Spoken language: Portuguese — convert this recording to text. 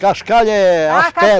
Cascalho é as